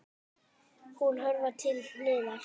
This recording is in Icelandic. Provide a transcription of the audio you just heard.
Hún hörfar til hliðar.